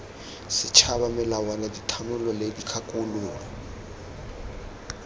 setšhaba melawana dithanolo le dikgakololo